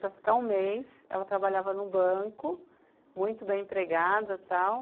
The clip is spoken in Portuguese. Para ficar um mês, ela trabalhava no banco, muito bem empregada, tal.